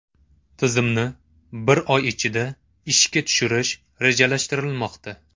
Tizimni bir oy ichida ishga tushirish rejalashtirilmoqda.